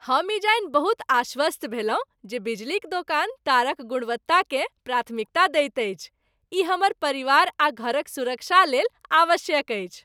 हम ई जानि बहुत आश्वस्त भेलहुँ जे बिजलीक दोकान तारक गुणवत्ताकेँ प्राथमिकता दैत अछि। ई हमर परिवार आ घरक सुरक्षाक लेल आवश्यक अछि।